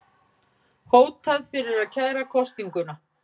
Hótað fyrir að kæra kosninguna